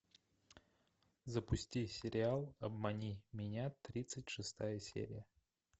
запусти сериал обмани меня тридцать шестая серия